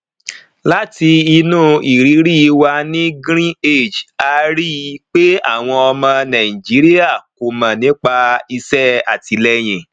láti inú ìrírí wa ní greenage a rí i pé àwọn ọmọ nàìjíríà kò mọ nípa iṣẹ àtìlẹyìn